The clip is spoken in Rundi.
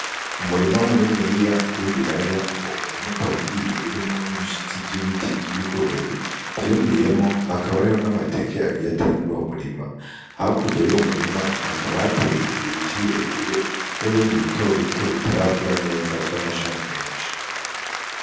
Umurima muniniya w'i bilaya wo murimuka uwugiye urimwo n'ibishitsi vy'ibiti vy'ibigori vyumiyemo hakaba ariho n'amateke agiya ateye muri uwo murima hakurya yo murima hakabateye ibiti birebire n'ibindi bitobito bitarakura neza vy'amashami menshi.